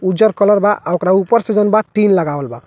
उज्जर कलर बा आ ओकरा ऊपर से जोवन बा टीन लगावल बा।